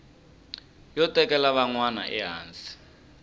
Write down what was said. yo tekela van wana ehansi